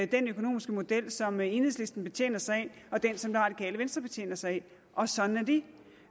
den økonomiske model som enhedslisten betjener sig af og den som det radikale venstre betjener sig af og sådan